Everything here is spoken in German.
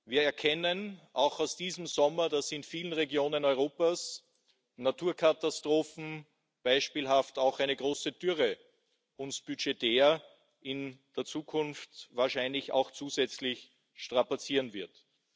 Wir erkennen außerdem aus diesem Sommer, dass in vielen Regionen Europas Naturkatastrophen, beispielhaft eine große Dürre, uns budgetär in der Zukunft wahrscheinlich auch zusätzlich strapazieren werden.